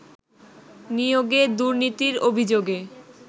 নিয়োগে দুর্নীতির অভিযোগে